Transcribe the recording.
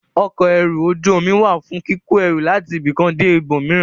Ọkọ̀ ẹrù ojú omi wà fún kíkó ẹrù láti ibì kan dé ibòmíràn.